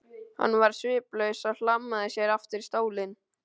Hann varð sviplaus og hlammaði sér aftur í stólinn.